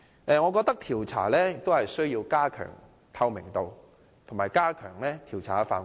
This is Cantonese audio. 我認為是次調查需要加強透明度及擴大調查範圍。